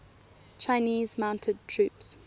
chinese mounted troops